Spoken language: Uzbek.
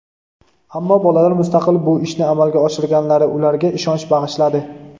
ammo bolalar mustaqil bu ishni amalga oshirganlari ularga ishonch bag‘ishladi).